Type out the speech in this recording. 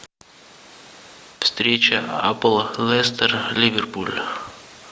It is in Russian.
встреча апл лестера ливерпуля